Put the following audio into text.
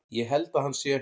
Ég held að hann sé.